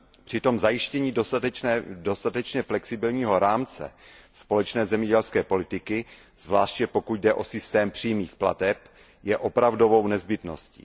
Přitom zajištění dostatečně flexibilního rámce společné zemědělské politiky, zvláště pokud jde o systém přímých plateb, je opravdovou nezbytností.